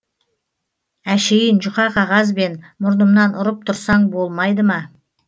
әшейін жұқа қағазбен мұрнымнан ұрып тұрсаң болмайды ма